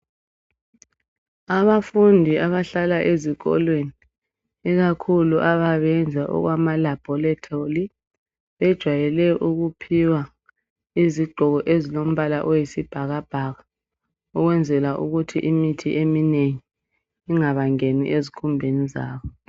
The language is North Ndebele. Abafundi abahlala ezikolweni ikakhulu ababeyenza okwama laboratory bejwayele ukuphiwa izigqoko ezilombala oyisibhakabhaka ukwenzela ukuthi imithi eminengi ingabangeni ezikhumbeni zabo.